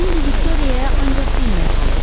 İndi Viktoriyaya ancaq enmək qalırdı.